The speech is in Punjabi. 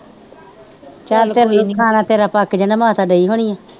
ਚੱਲ ਕੋਈ ਨੀ ਖਾਣਾ ਤੇਰਾ ਪੱਕ ਜਾਣਾ ਮਾਤਾ ਗਈ ਹੋਣੀ ਹੈ।